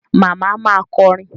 Màmá ma kọrin.